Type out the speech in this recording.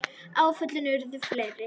Áföllin urðu fleiri.